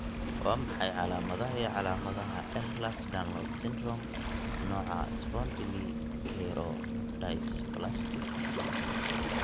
Waa maxay calaamadaha iyo calaamadaha Ehlers Danlos syndrome, nooca spondylocheirodysplastic?